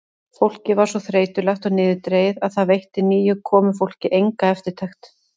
Fólkið var svo þreytulegt og niðurdregið að það veitti nýju komufólki enga eftirtekt.